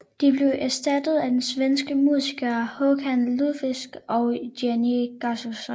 De blev erstattet af de svenske musikere Håkan Lundqvist og Jenny Gustafsson